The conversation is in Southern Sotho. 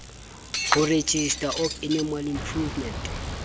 ho registrar of animal improvement